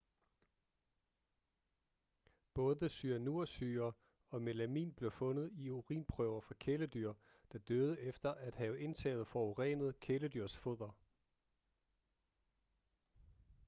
både cyanursyre og melamin blev fundet i urinprøver fra kæledyr der døde efter at have indtaget forurenet kæledyrsfoder